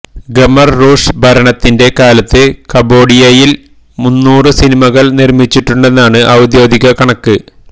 Khmer Rouge ഭരണത്തിന്റെ കാലത്ത് കംബോഡിയയില് മുന്നൂറ് സിനിമകള് നിര്മ്മിച്ചിട്ടുണ്ടെന്നാണ് ഔദ്യോഗിക കണക്ക്